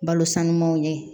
Balo sanumanw ye